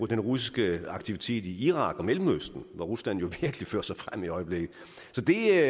den russiske aktivitet i irak og mellemøsten hvor rusland virkelig fører sig frem i øjeblikket så det